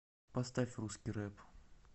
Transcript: поставь русский рэп